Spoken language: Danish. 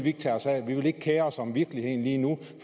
ikke tage sig af at man ikke vil kere sig om virkeligheden lige nu